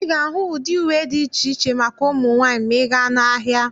Ị ga-ahụ ụdị uwe dị iche iche maka ụmụ nwaanyị ma ị gaa n'ahịa.